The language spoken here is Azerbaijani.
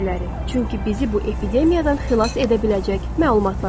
Çünki bizi bu epidemiyadan xilas edə biləcək məlumatlar alırıq.